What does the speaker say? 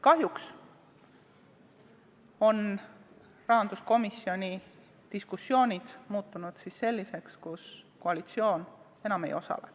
Kahjuks on rahanduskomisjoni diskussioonid muutunud selliseks, kus koalitsioon enam ei osale.